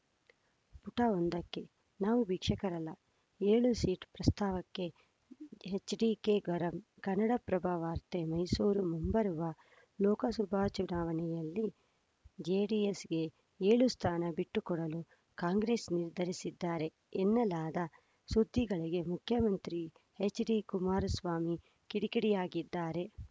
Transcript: ಪುಟ ಒಂದಕ್ಕೆ ನಾವು ಭಿಕ್ಷುಕರಲ್ಲ ಏಳು ಸೀಟು ಪ್ರಸ್ತಾವಕ್ಕೆ ಎಚ್‌ಡಿಕೆ ಗರಂ ಕನ್ನಡಪ್ರಭ ವಾರ್ತೆ ಮೈಸೂರು ಮುಂಬರುವ ಲೋಕಸಭಾ ಚುನಾವಣೆಯಲ್ಲಿ ಜೆಡಿಎಸ್‌ಗೆ ಏಳು ಸ್ಥಾನ ಬಿಟ್ಟುಕೊಡಲು ಕಾಂಗ್ರೆಸ್‌ ನಿರ್ಧರಿಸಿದ್ದಾರೆ ಎನ್ನಲಾದ ಸುದ್ದಿಗಳಿಗೆ ಮುಖ್ಯಮಂತ್ರಿ ಎಚ್‌ಡಿಕುಮಾರಸ್ವಾಮಿ ಕಿಡಿಕಿಡಿಯಾಗಿದ್ದಾರೆ